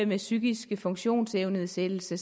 med psykiske funktionsevnenedsættelser